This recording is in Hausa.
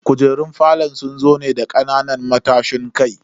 Kujerun falon sun zo ne da kananan matashin kai.